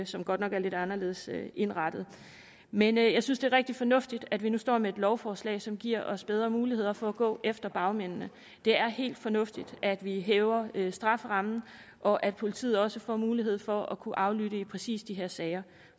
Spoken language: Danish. som godt nok er lidt anderledes indrettet men jeg synes det er rigtig fornuftigt at vi nu står med et lovforslag som giver os bedre muligheder for at gå efter bagmændene det er helt fornuftigt at vi hæver strafferammen og at politiet også får mulighed for at kunne aflytte i præcis de her sager